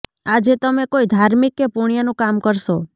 આજે તમે કોઈ ધાર્મિક કે પુણ્યનું કામ કરશો